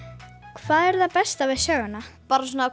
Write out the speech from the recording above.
hvað er það besta við söguna bara svona